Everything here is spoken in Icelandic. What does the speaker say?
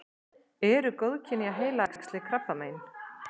eru góðkynja heilaæxli krabbamein